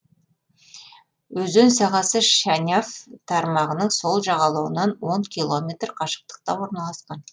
өзен сағасы шаняв тармағының сол жағалауынан он километр қашықтықта орналасқан